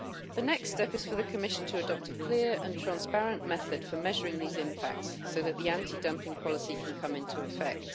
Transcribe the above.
The next step is for the Commission to adopt a clear and transparent method for measuring these impacts so that the anti dumping policy can come into effect.